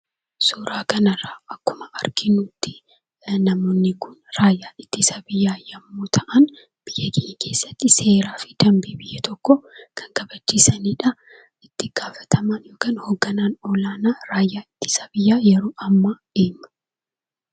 Suuraa kanarraa akkuma arginuttii namoonni kun raayyaa ittisa biyyaa yemmuu ta'an biyya keenya keessatti seeraa fi dambii biyya tokkoo kan kabachiisanidhaa. Itti gaafatamaan yookaan hoogganaan olaanaa raayyaa ittisa biyyaa yeroo ammaa eenyu?